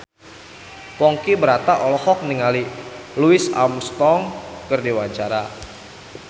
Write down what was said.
Ponky Brata olohok ningali Louis Armstrong keur diwawancara